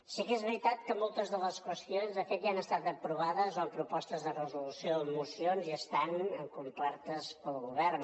sí que és veritat que moltes de les qüestions de fet ja han estat aprovades o en propostes de resolució o en mocions i estan acomplertes pel govern